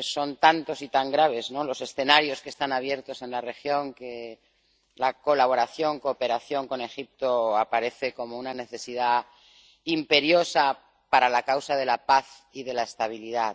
son tantos y tan graves los escenarios que están abiertos en la región, que la colaboración, la cooperación con Egipto aparece como una necesidad imperiosa para la causa de la paz y de la estabilidad.